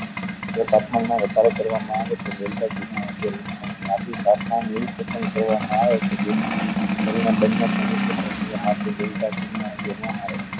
જો તાપમાન માં વધારો કરવા અ આવે તો ઘી માં તાપમાન એવું પસંદ કરવા માં આવે કે જેથી કરી ને બન્ને આવે